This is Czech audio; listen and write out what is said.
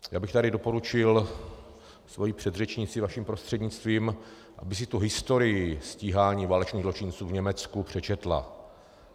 Já bych tady doporučil své předřečnici vaším prostřednictvím, aby si tu historii stíhání válečných zločinců v Německu přečetla.